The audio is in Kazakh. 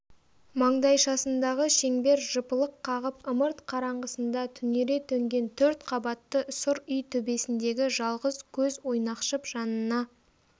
маңдайшасындағы шеңбер жыпылық қағып ымырт қараңғысында түнере төнген төрт қабатты сұр үй төбесіндегі жалғыз көз ойнақшып жанына